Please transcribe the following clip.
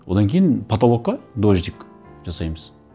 одан кейін потолокқа дождик жасаймыз